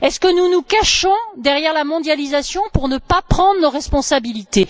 Nous cachons nous derrière la mondialisation pour ne pas prendre nos responsabilités?